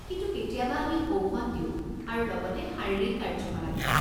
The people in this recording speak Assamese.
কিন্তু কেতিয়াবা আমি ঔষধ দিওঁ আৰু লগতে শাৰীৰিক কাৰ্য্যকলাপো।